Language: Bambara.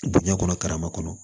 Diɲɛ kɔnɔ karama kɔnɔ